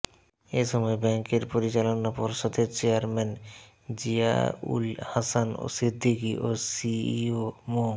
এ সময় ব্যাংকের পরিচালনা পর্ষদের চেয়ারম্যান জিয়াউল হাসান সিদ্দিকী এবং সিইও মো